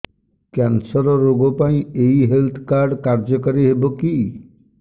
cancer ରୋଗ ପାଇଁ ଏଇ ହେଲ୍ଥ କାର୍ଡ କାର୍ଯ୍ୟକାରି ହେବ କି